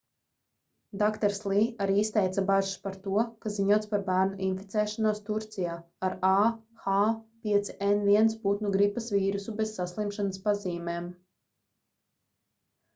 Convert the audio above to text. dr. lī arī izteica bažas par to ka ziņots par bērnu inficēšanos turcijā ar ah5n1 putnu gripas vīrusu bez saslimšanas pazīmēm